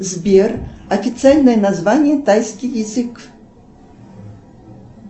сбер официальное название тайский язык